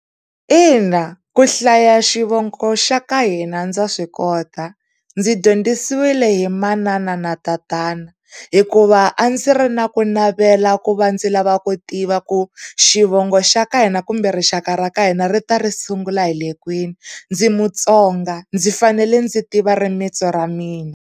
Ina ku hlaya xivongo xa ka hina ndza swikota, ndzi dyondzisile hi manana na tatana hikuva a ndzi ri na ku navela ku va ndzi lava ku tiva, ku xivongo xa ka hina kumbe rixaka ra ka hina ri ta ri sungula hile kwini. Ndzi Mutsonga ndzi fanele ndzi tiva rimintsu ra mina.